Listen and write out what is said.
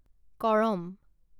Karam